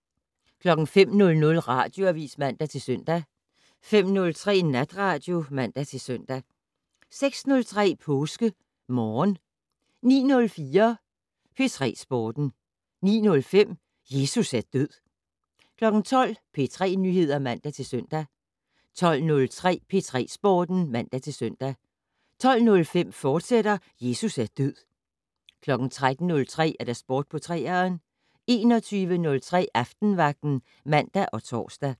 05:00: Radioavis (man-søn) 05:03: Natradio (man-søn) 06:03: PåskeMorgen 09:04: P3 Sporten 09:05: Jesus er død 12:00: P3 Nyheder (man-søn) 12:03: P3 Sporten (man-søn) 12:05: Jesus er død, fortsat 13:03: Sport på 3'eren 21:03: Aftenvagten (man og tor)